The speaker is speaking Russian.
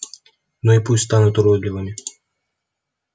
ну и пусть станут уродливыми